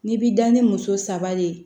N'i bi da ni muso saba de ye